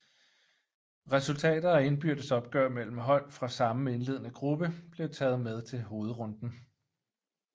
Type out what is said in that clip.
Resultater af indbyrdes opgør mellem hold fra samme indledende gruppe blev taget med til hovedrunden